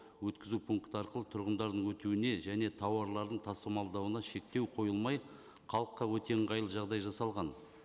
өткізу пункті арқылы тұрғындардың өтуіне және тауарларын тасымалдауына шектеу қойылмай халыққа өте ыңғайлы жағдай жасалған